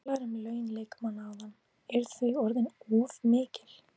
Þú talaðir um laun leikmanna áðan, eru þau orðin of mikil?